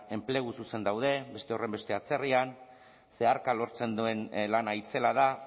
enplegu zuzen daude beste horrenbeste atzerrian zeharka lortzen duen lana itzela da